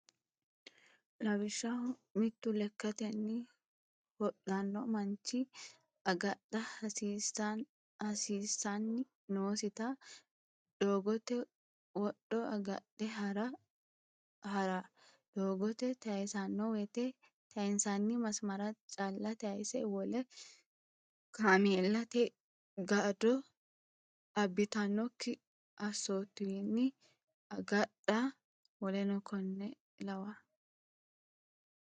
Lawishshaho, mittu lekkatenni hodhanno manchi agadha hasiissan- nosita doogote wodho agadhe ha’ra, doogo tayisanno wote tayinsanni masmarira calla tayisa, wole kaameellate jaddo abbitanno assootuwanni agadha w k l.